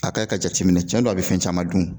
A ka ka jateminɛ cɛn don a be fɛn caman dun